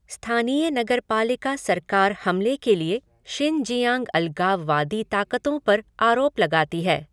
स्थानीय नगरपालिका सरकार हमले के लिए शिनजियांग अलगाववादी ताकतों पर आरोप लगाती है।